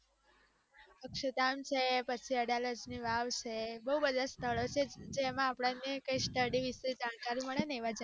અક્ષરધામ છે પછી અદાલત ની વાવ છે બૌ બધા સ્થળ છે જેમાં અપ્દને study વિષે જાણકારી મળે ને ત્યાં જઈએ